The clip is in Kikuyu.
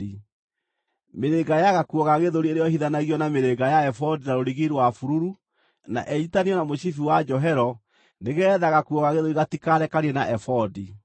Mĩrĩnga ya gakuo ga gĩthũri ĩrĩohithanagio na mĩrĩnga ya ebodi na rũrigi rwa bururu, na inyiitithanio na mũcibi wa njohero, nĩgeetha gakuo ga gĩthũri gatikarekanie na ebodi.